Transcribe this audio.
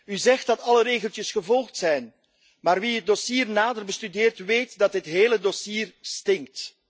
U zegt dat alle regeltjes gevolgd zijn, maar wie het dossier nader bestudeert, weet dat dit hele dossier stinkt.